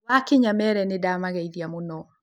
Wakinya meere nĩdamageithia mũno